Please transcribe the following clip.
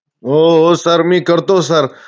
हो हो. sir. मी करतो sir.